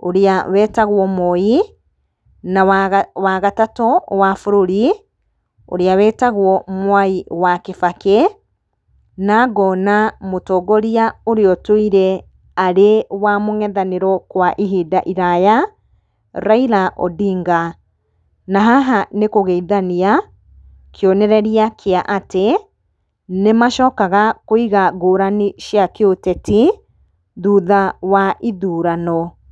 ũrĩa wetagwo Moi, na wa gatatũ wa bũrũri ũrĩa wetagwo Mwai wa Kĩbakĩ. Na ngona mũtongoria ũrĩa ũtũire arĩ wa mũng'ethanĩro kwa ihinda iraya, Raila Odinga. Na haha nĩ kũgeithania, kĩonereria kĩa atĩ nĩ macokaga kũiga ngũrani cia kĩũteti thũtha wa ithurano.